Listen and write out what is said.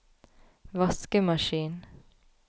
vaskemaskin